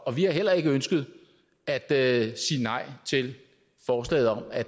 og vi har heller ikke ønsket at sige nej til forslaget om at